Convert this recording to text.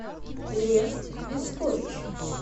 лев юскович